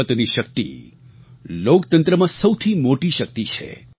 મતની શક્તિ લોકતંત્રમાં સૌથી મોટી શક્તિ છે